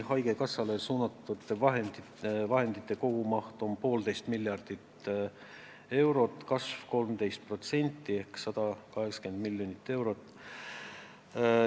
Haigekassale suunatud vahendite kogumaht on 1,5 miljardit eurot, kasv on 13% ehk 180 miljonit eurot.